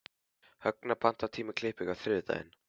Högna, pantaðu tíma í klippingu á þriðjudaginn.